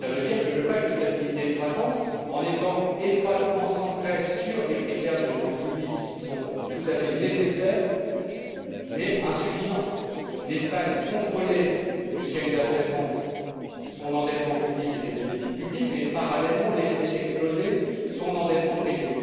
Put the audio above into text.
Cela veut dire qu'avec un pacte de stabilité et de croissance étroitement centré sur des critères de finances publiques, qui sont tout à fait nécessaires mais insuffisants, l'Espagne contrôlait jusqu'à une date récente son endettement public et ses déficits publics, mais parallèlement laissait exploser son endettement privé.